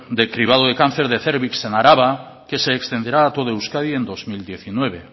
de cribado de cáncer de cérvix en araba que se extenderá a todo euskadi en dos mil diecinueve